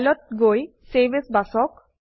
file ত গৈ save as বাছক